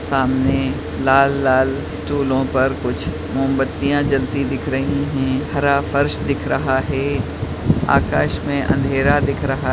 सामने लाल-लाल स्टूलो पर कुछ मोमबत्तीयाँ जलती दिख रही है हरा फर्श दिख रहा है आकाश में अंधेरा दिख रहा --